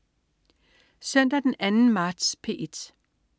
Søndag den 2. marts - P1: